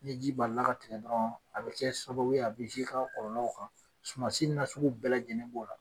Ni ji balila ka tigɛ dɔrɔn, a bɛ kɛ sababuye a bɛ ka kɔlɔɔl kan sumansi na sugu bɛɛ lajɛlen